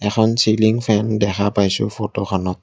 এখন ceiling fan দেখা পাইছোঁ ফটোখনত।